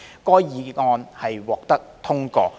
該議案獲得通過。